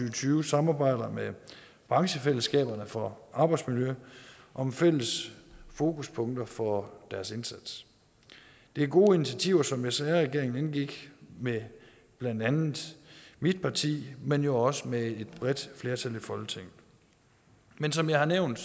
og tyve samarbejder med branchefællesskaberne for arbejdsmiljø om fælles fokuspunkter for deres indsats det er gode initiativer som sr regeringen indgik med blandt andet mit parti men jo også med et bredt flertal i folketinget men som jeg har nævnt